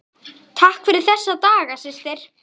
Takk fyrir þessa daga, systir.